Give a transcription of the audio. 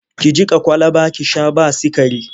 Ki jiƙa kwalaba ki sha ba sikari!